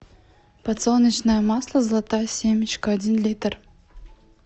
подсолнечное масло золотая семечка один литр